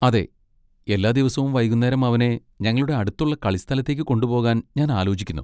അതെ, എല്ലാ ദിവസവും വൈകുന്നേരം അവനെ ഞങ്ങളുടെ അടുത്തുള്ള കളിസ്ഥലത്തേക്ക് കൊണ്ടുപോകാൻ ഞാൻ ആലോചിക്കുന്നു.